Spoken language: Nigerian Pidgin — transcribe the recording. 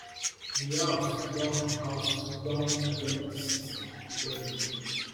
di house don house don adjourn di sitting indefinitely